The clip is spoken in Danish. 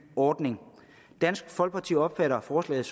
ordning dansk folkeparti opfatter forslaget